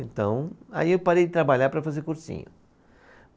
Então, aí eu parei de trabalhar para fazer cursinho.